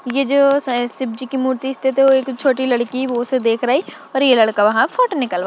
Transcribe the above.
ये जो स शिवजी की मूर्ति स्थित हुई एक छोटी लड़की वो उसे देख रही और ये लड़का वहां फोटो निकलवा--